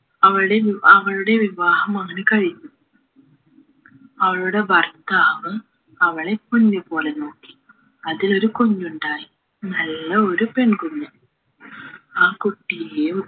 അവളുടെ വി അവളുടെ വിവാഹം അങ്ങനെ കഴിഞ്ഞു അവളുടെ ഭർത്താവ് അവളെ പോഞ്ചുപോലെ നോക്കി അതിലൊരു കുഞ്ഞുണ്ടായി നല്ല ഒരു പെൺകുഞ്ഞ് ആ കുട്ടിയേയും